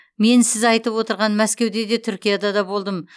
мен сіз айтып отырған мәскеуде де түркияда да болдым